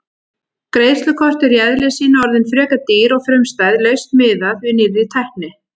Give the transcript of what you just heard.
Greiðslukort eru í eðli sínu orðin frekar dýr og frumstæð lausn miðað við nýrri tækni.